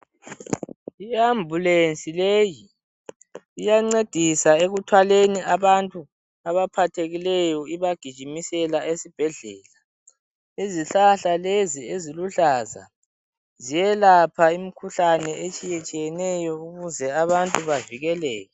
I Ambulance leyi iyancedisa ekuthwaleni abantu abaphathekileyo ibagijimisela esibhedlela, izihlahla lezi eziluhlaza ziyelapha imikhuhlane etshiyetshiyeneyo ukuze abantu bavikeleke.